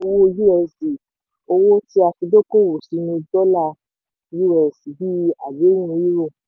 Owò usd: owó tí a fi dókòwò sínú dọ́là us bíi àdéhùn euro.